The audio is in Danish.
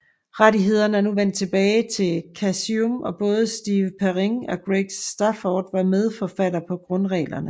Rettighederne er nu vendt tilbage til Chaosium og både Steve Perrin og Greg Stafford var medforfattere på grundreglerne